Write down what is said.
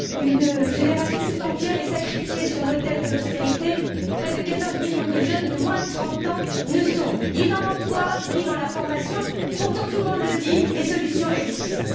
Une génération tout entière est sacrifiée sur l'autel de l'austérité. Près de 14 millions de jeunes de moins de 30 ans ne sont ni dans l'emploi ni dans la formation, et pourtant tout le monde le dit les solutions existent.